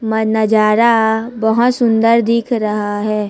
मा नजारा बहोत सुंदर दिख रहा है।